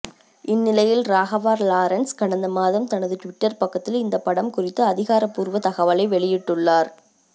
இந்நிலையில் ராகவா லாரன்ஸ் கடந்த மாதம் தனது ட்விட்டர் பக்கத்தில் இந்த படம் குறித்து அதிகாரப்பூர்வ தகவலை வெளியிட்டுள்ளார்